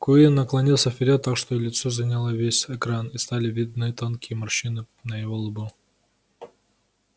куинн наклонился вперёд так что его лицо заняло весь экран и стали видны тонкие морщины на его лбу